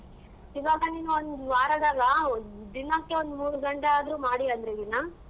ಇವಾಗ್ ನೀನ್ ಒಂದ್ ವಾರದಲ ದಿನಕ್ಕೆ ಒಂದ್ ಮೂರ್ ಗಂಟೆ ಆದ್ರೂ ಮಾಡಿ ಅಂದ್ರೆ ದಿನ.